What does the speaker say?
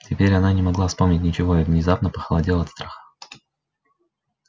теперь она не могла вспомнить ничего и внезапно похолодела от страха